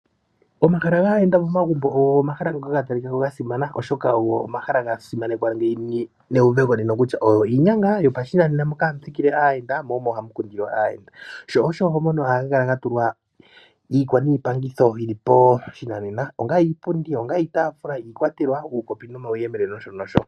Omahala gaayenda momagumbo ogo omahala ga talikako ga simana oshoka ogo omala ga simanekwa moka hamu thikile aayenda mo omo hamu kundilwa aayenda sho osho monena ohaga kala ga tulwa iikwaniipangitho yili poshinanena onga iipundi, iitaafula, uukopi nomauyemele nosho nosho.